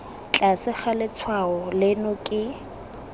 tlase ga letshwao leno ke